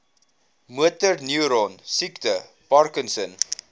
motorneuron siekte parkinson